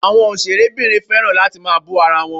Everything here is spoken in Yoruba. Àwọn òṣèré obìnrin fẹ́ràn láti máa bú ara wọn.